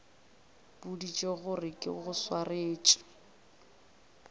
boditše gore ke go swaretše